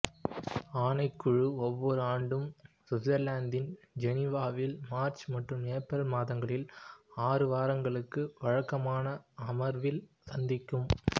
ஆணைக்குழு ஒவ்வொரு ஆண்டும் சுவிட்சர்லாந்தின் ஜெனீவாவில் மார்ச் மற்றும் ஏப்ரல் மாதங்களில் ஆறு வாரங்களுக்கு வழக்கமான அமர்வில் சந்திக்கும்